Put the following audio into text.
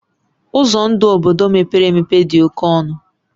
Ụzọ ndụ obodo mepere emepe dị oke ọnụ